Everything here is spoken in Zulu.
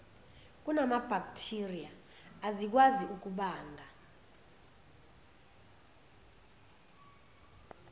kunamabhakthiriya ezikwazi ukubanga